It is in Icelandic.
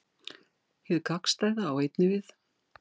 Hið gagnstæða á einnig við.